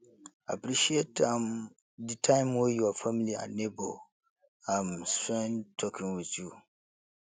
appreciate um di time wey your family and neigbour um spend talking with you